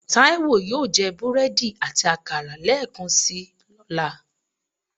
Taiwo yóò je búredì ati akara lẹẹkansi ọla.